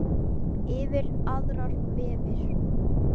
Yfir aðrir vefir.